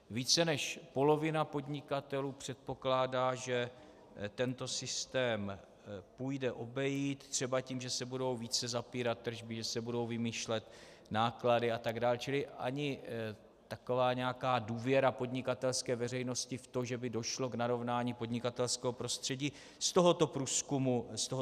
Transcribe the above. Vice než polovina podnikatelů předpokládá, že tento systém půjde obejít třeba tím, že se budou více zapírat tržby, že se budou vymýšlet náklady atd., čili ani taková nějaká důvěra podnikatelské veřejnosti v tom, že by došlo k narovnání podnikatelského prostředí, z tohoto průzkumu nevyplývá.